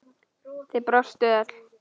Þið brostuð öll.